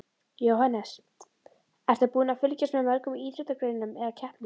Jóhannes: Ertu búin að fylgjast með mörgum íþróttagreinum eða keppnum?